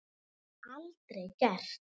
Það var aldrei gert.